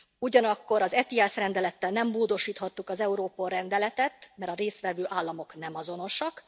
Ugyanakkor az ETIAS rendelettel nem módosíthattuk az Europol rendeletet, mert a részt vevő államok nem azonosak.